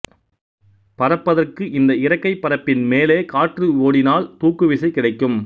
பறப்பதற்கு இந்த இறக்கைப் பரப்பின் மேலே காற்று ஓடினால் தூக்குவிசை கிடைக்கும்